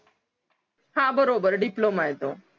हां बरोबर diploma आहे तो